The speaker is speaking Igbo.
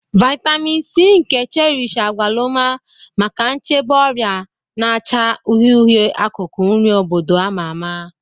Vitamin C nke Cherish agwaluma maka nchebe ọrịa na acha uhie uhie, akụkụ nri obodo a ma ama.